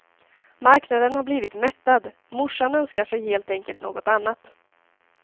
Marknaden har blivit mättad, morsan önskar sig helt enkelt något annat.